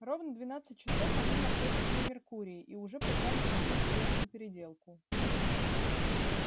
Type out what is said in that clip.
ровно двенадцать часов они находятся на меркурии и уже попали в такую скверную переделку